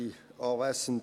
– Jawohl.